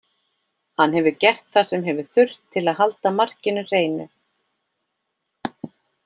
Hann hefur gert það sem hefur þurft til að halda markinu hreinu.